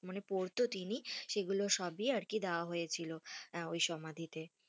মানে পরতো তিনি সেগুলো সবই আরকি দেয়া হয়েছিল, ওই সমাধিতে,